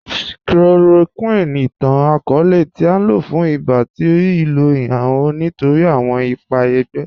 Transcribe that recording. Chloroquine, ìtàn-akọọlẹ̀ tí à lọ fún ìbá, tí rí ilò ihamọ̀̀ nítorí awọn ìpà ègbé.